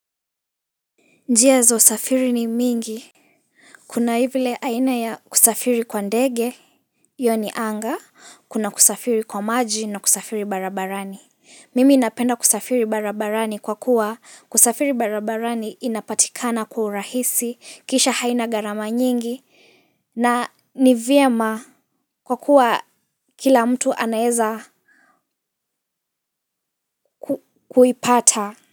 Njia za usafiri ni mingi, kuna vile aina ya kusafiri kwa ndege, yaani anga, kuna kusafiri kwa maji na kusafiri barabarani. Mimi napenda kusafiri barabarani kwa kuwa kusafiri barabarani inapatikana kwa urahisi, kisha haina gharama nyingi, nanivyema kwa kuwa kila mtu anaeza kuipata.